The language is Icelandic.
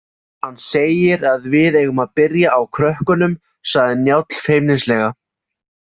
Hann segir að við eigum að byrja á krökkunum, sagði Njáll feimnislega.